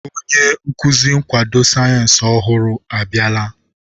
Onye nkuzi nkwado sayensị ọhụrụ abịala.